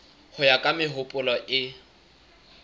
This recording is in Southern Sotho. ho ya ka mehopolo e